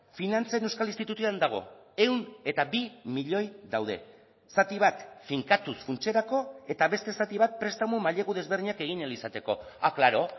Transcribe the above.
finantzen euskal institutuan dago ehun eta bi milioi daude zati bat finkatuz funtserako eta beste zati bat prestamu mailegu desberdinak egin ahal izateko ah klaro